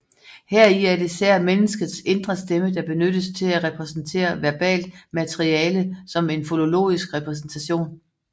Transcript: Heri er det især menneskets indre stemme der benyttes til at repræsentere verbalt materiale som en fonologisk repræsentation